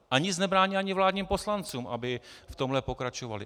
A nic nebrání ani vládním poslancům, aby v tomhle pokračovali.